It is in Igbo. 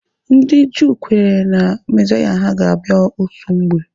Ndị Juu kwenyere Na mezaya ha ga-abịa otu mgbe.